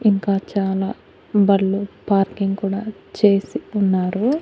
ఇంకా చాలా బళ్ళు పార్కింగ్ కూడా చేసి ఉన్నారు.